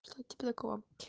то то типа такого